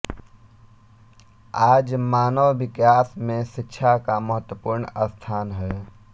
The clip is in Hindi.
आज मानव विकास में शिक्षा का महत्वपूर्ण स्थान है